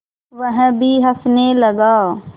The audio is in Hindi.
वह भी हँसने लगा